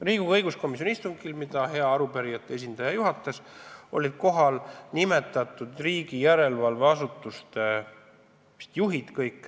Riigikogu õiguskomisjoni istungil, mida hea arupärijate esindaja juhatas, olid kohal kõik nimetatud riigi järelevalveasutuste juhid.